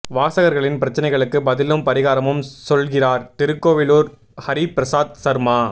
வாசகா்களின் பிரச்னைகளுக்கு பதிலும் பரிகாரமும் சொல்கிறார் திருக்கோவிலூர் ஹரிபிரசாத் சர்மா